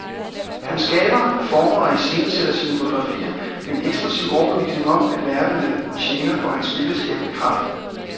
Han skaber, former og iscenesætter sine fotografier med en ekspressiv overbevisning om, at verden er tjener for hans billedskabende kraft.